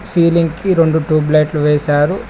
Ceiling కి రెండు tube light వేశారు.